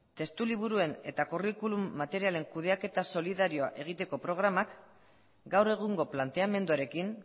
testuliburuen eta curriculum materialen kudeaketa solidarioa egiteko programa gaur egungo planteamenduarekin